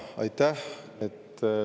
Aitäh!